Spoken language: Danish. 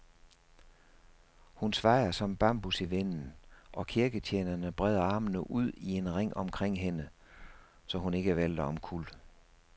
Hun svajer som bambus i vinden, og kirketjenerne breder armene ud i en ring omkring hende, så hun ikke vælter omkuld.